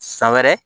San wɛrɛ